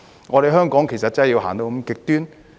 我們香港真的要走到那麼極端？